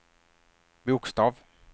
bokstav